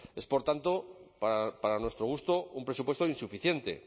es por tanto para nuestro gusto un presupuesto insuficiente